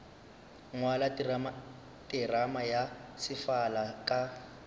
ngwala terama ya sefala ka